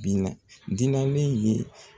Dilannen ye